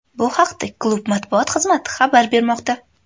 Bu haqda klub matbuot xizmati xabar bermoqda .